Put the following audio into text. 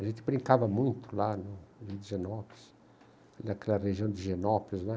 A gente brincava muito lá no rio de higienópolis, naquela região de higienópolis, né?